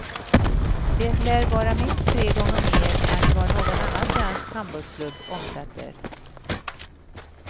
Det lär vara minst tre gånger mer än vad någon annan svensk handbollsklubb omsätter.